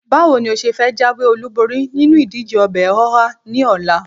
Báwo ni ó ṣe fẹ́ jáwé-olúborí nínú ìdíje ọbẹ̀ ọhá ní ọ̀la?